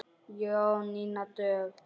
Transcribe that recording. Jónína Dögg.